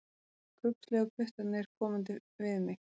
Kubbslegu puttarnir komandi við mig.